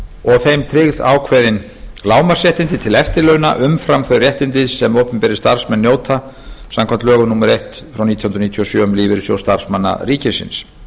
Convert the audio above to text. og þeim tryggð ákveðin lágmarksréttindi til eftirlauna umfram þau réttindi sem opinberir starfsmenn njóta samkvæmt lögum númer eitt nítján hundruð níutíu og sjö um lífeyrissjóð starfsmanna ríkisins